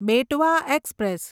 Betwa express